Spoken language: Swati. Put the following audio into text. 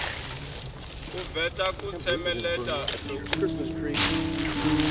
uveta kutsemeleta lokukhulu